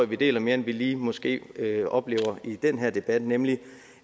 vi deler mere end vi vi måske lige oplever i den her debat nemlig